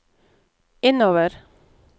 innover